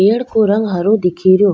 पेड़ को रंग हरो दिखे रियो।